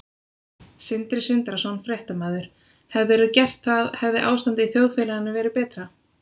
Sindri Sindrason, fréttamaður: Hefðirðu gert það hefði ástandið í þjóðfélaginu verið betra?